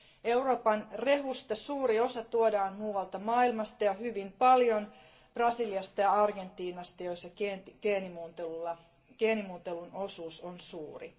Euroopan rehusta suuri osa tuodaan muualta maailmasta ja hyvin paljolti Brasiliasta ja Argentiinasta, joissa geenimuunnellun rehun osuus on suuri.